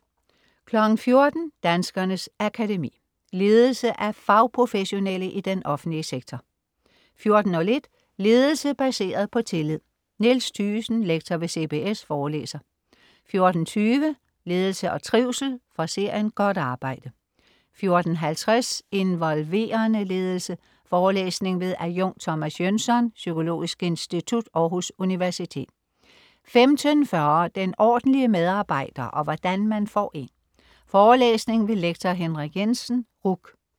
14.00 Danskernes Akademi. Ledelse af fagprofessionelle i den offentlige sektor 14.01 Ledelse baseret på tillid. Niels Thygesen, lektor ved CBS forelæser 14.20 Ledelse og trivsel. Fra serien: Godt arbejde 14.50 Involverende ledelse. Forelæsning ved adjunkt Thomas Jønsson, Psykologisk Institut, Aarhus Universitet 15.40 Den ordentlige medarbejder og hvordan man får en. Forelæsning ved lektor Henrik Jensen, RUC